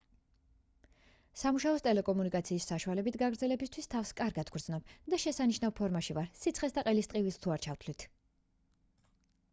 სამუშაოს ტელეკომუნიკაციის საშუალებით გაგრძელებისთვის თავს კარგად ვგრძნობ და შესანიშნავ ფორმაში ვარ სიცხეს და ყელის ტკივილს თუ არ ჩავთვლით